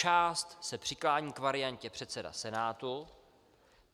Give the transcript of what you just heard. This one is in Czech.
Část se přiklání k variantě předseda Senátu.